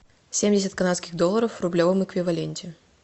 семьдесят канадских долларов в рублевом эквиваленте